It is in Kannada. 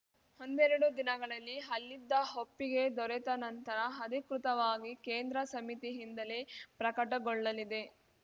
ಒಂದೆರಡು ದಿನಗಳಲ್ಲಿ ಅಲ್ಲಿದ್ದ ಒಪ್ಪಿಗೆ ದೊರೆತ ನಂತರ ಅಧಿಕೃತವಾಗಿ ಕೇಂದ್ರ ಸಮಿತಿಯಿಂದಲೇ ಪ್ರಕಟಗೊಳ್ಳಲಿದೆ